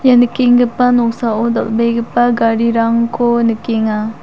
ia nikenggipa noksao dal·begipa garirangko nikenga.